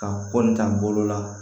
Ka kɔ ni ta bolo la